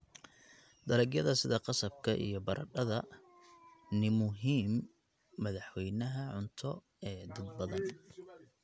Dalagyada sida qasabka iyo baradhada ni muhiim madaxweynaha cunto ee dad badan.